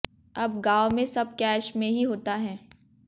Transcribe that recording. अब गांव में सब कैश में ही होता है